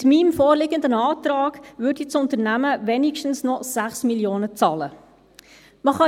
Mit meinem vorliegenden Antrag würde das Unternehmen wenigstens noch 6 Mio. Franken bezahlen.